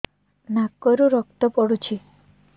ନାକରୁ ରକ୍ତ ପଡୁଛି